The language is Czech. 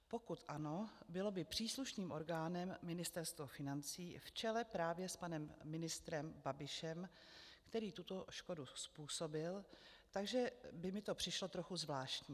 Pokud ano, bylo by příslušným orgánem Ministerstvo financí v čele právě s panem ministrem Babišem, který tuto škodu způsobil, takže by mi to přišlo trochu zvláštní.